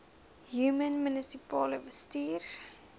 human munisipale bestuurder